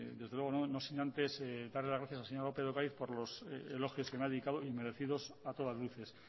desde luego no sin antes darle las gracias al señor lópez de ocariz por los elogios que me ha dedicado y merecidos a todas luces